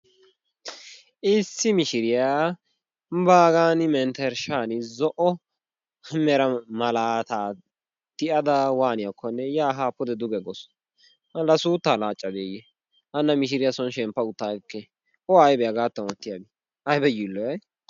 Issi mishiriyaa baagan menttershshaan zo"o mera malaataa waaniyaakoonne yaa haa pude duge gawus. La suuttaa laaccadeeyee? hana mishshiriyaa soon shemppa utta agekkee? oaybee haagataan ottiyaabay? ayba yiilloyayi!